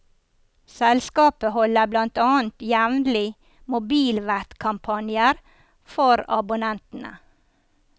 Selskapet holder blant annet jevnlig mobilvettkampanjer for abonnentene.